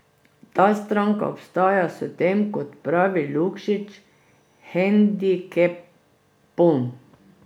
Ta stranka ostaja s tem, kot pravi Lukšič, hendikepom.